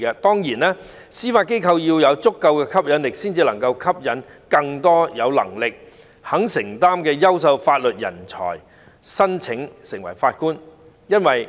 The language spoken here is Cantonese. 當然，司法機構必須具有足夠的吸引力，才能夠吸引更多有能力、肯承擔的優秀法律人才申請成為法官。